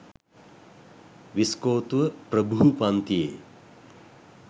විස්කෝතුව ප්‍රභූ පන්තියේ